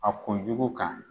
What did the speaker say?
A kunjugu kan.